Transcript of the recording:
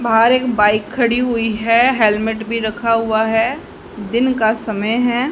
बाहर एक बाइक खड़ी हुई है हेलमेट भी रखा हुआ है दिन का समय है।